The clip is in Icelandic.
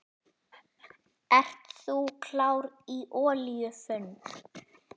Ert þú klár í olíufund?